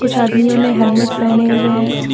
कुछ आदमियों ने हेलमेट पहने हुए है।